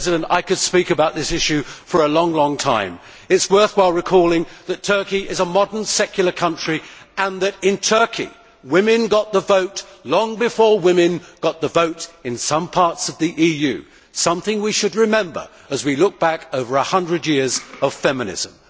I could speak about this issue for a long time. It is worthwhile recalling that Turkey is a modern, secular country and that in Turkey, women got the vote long before women got the vote in some parts of the EU something we should remember as we look back over one hundred years of feminism.